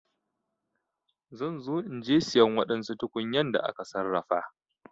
Zan zo inje siyan wadansu tukunyan da aka sarrafa.